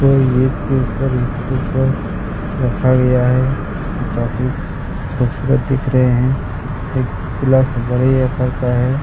और ये एक के ऊपर एक के ऊपर रखा गया है जो काफी खूबसूरत दिख रहे है एक गिलास बड़े आकार का है।